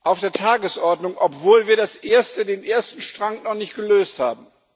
auf der Tagesordnung, obwohl wir den ersten Strang noch nicht gelöst haben.